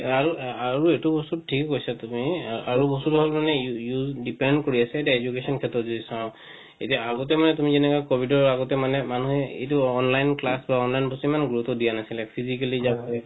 এ আৰু এ আৰু এইটো বস্তু ঠিকে কৈছা তুমি আৰু বস্তুটো হল মানে use depend কৰি আছে এতিয়া education ৰ ক্ষেত্ৰত যদি চাও এতিয়া আগতে মানে তুমি যেনেকা covid ৰ আগতে মানে মানুহে এইটো online class লোৱা online বস্তু ইমান গুৰুত্ব দিয়া নাছিলে physically